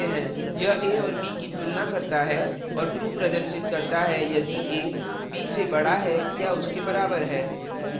यह a और b की तुलना करता है और true प्रदर्शित करता है यदि a b से बड़ा है या उसके बराबर है